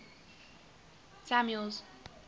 samuel's